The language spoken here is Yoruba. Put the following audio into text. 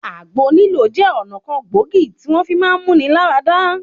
Àgbo lílò jẹ́ ọ̀nà kan gbòógì tí wọ́n fi máá mú-ni-lá-ra-dá.